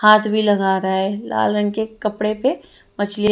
हाथ भी लगा रहा है लाल रंग के कपड़े पे मछलियां--